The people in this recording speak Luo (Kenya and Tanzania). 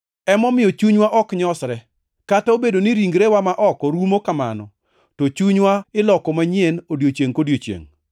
Emomiyo chunywa ok nyosre. Kata obedo ni ringrewa ma oko rumo kamano, to chunywa iloko manyien odiechiengʼ kodiechiengʼ.